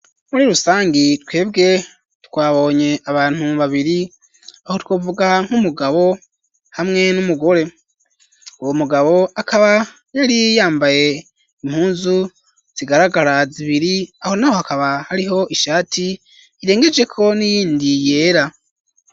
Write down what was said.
Muri rusangi twebwe twabonye abantu babiri aho twovuga nk'umugabo hamwe n'umugore uwo mugabo akaba yari yambaye impuzu zigaragara zibiri aho naho hakaba hariho ishati irengejeko n'iyindi yera.